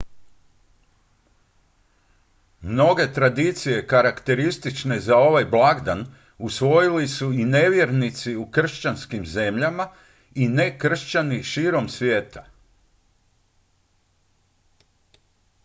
mnoge tradicije karakteristične za ovaj blagdan usvojili su i nevjernici u kršćanskim zemljama i nekršćani širom svijeta